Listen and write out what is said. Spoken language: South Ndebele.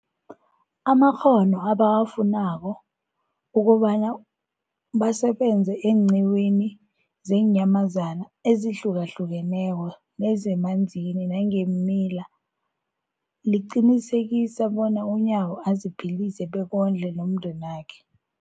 amakghono ebawafunako ukobana basebenze eenqiwini zeenyamazana ezihlukahlukeneko nezemanzini nangeemila, liqinisekisa bona uNyawo aziphilise bekondle nomndenakhe.